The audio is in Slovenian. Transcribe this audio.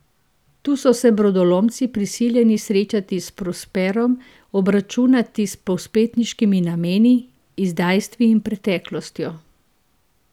Tu so se brodolomci prisiljeni srečati s Prosperom, obračunati s povzpetniškimi nameni, izdajstvi in preteklostjo.